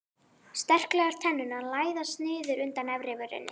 Sterklegar tennurnar læðast niður undan efrivörinni.